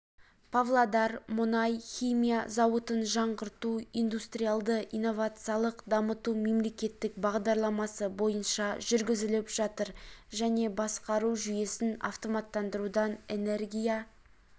павлодар мұнай-химия зауытын жаңғырту индустриалды-инновациялық дамыту мемлекеттік бағдарламасы бойынша жүргізіліп жатыр және басқару жүйесін автоматтандырудан энергия